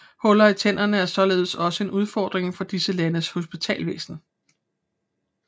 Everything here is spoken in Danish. Huller i tænderne er således også en udfordring for disse landes hospitalsvæsen